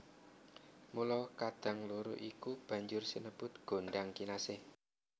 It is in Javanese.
Mula kadang loro iku banjur sinebut gondhang kinasih